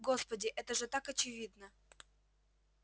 господи это же так очевидно